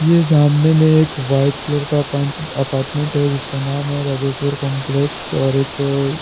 ये सामने में एक वाइट कलर का अपार्टमेंट है जिसका नाम है राजेश्वर कॉम्प्लेक्स और एक--